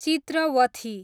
Chitravathi